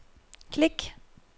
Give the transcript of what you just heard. klik